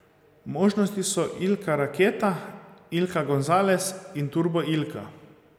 Možnosti so Ilka Raketa, Ilka Gonzales in Turbo Ilka.